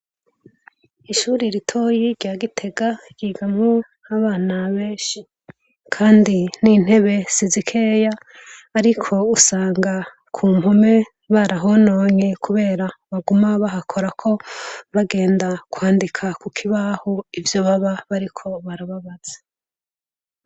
Ishure ritoyi rya Gitega ryigamwo abana benshi, kandi n’intebe sizikeya. Ariko usanga ku mpome barahanonye kubera baguma bahakorako bagenda kwandika ku kibaho ivyo baba bariko barababaza.